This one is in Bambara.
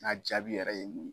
n'a jaabi yɛrɛ ye nin ye.